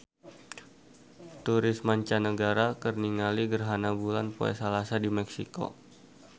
Turis mancanagara keur ningali gerhana bulan poe Salasa di Meksiko